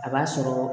A b'a sɔrɔ